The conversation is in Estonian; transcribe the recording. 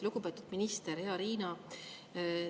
Lugupeetud minister, hea Riina!